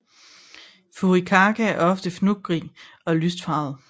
Furikake er ofte fnuggig og lyst farvet